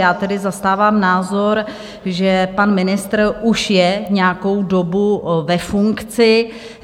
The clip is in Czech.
Já tedy zastávám názor, že pan ministr už je nějakou dobu ve funkci.